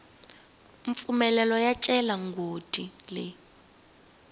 mpfumelelo yo cela migodi leyi